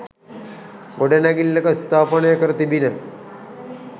ගොඩනැගිල්ලක ස්ථාපනය කර තිබිණ.